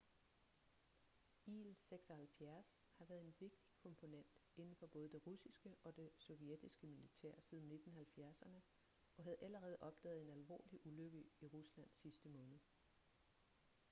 il-76 har været en vigtig komponent inden for både det russiske og det sovjetiske militær siden 1970'erne og havde allerede opdaget en alvorlig ulykke i rusland sidste måned